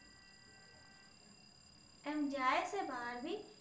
આમ જાય છે બહાર ભી